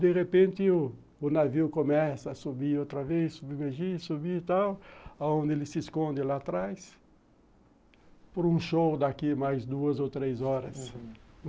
De repente, o navio começa a subir outra vez, submergir, subir e tal, onde ele se esconde lá atrás, por um show daqui mais duas ou três horas.